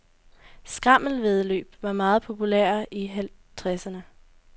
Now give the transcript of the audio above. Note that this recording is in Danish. Skrammelvæddeløb var meget populære i halvtredserne.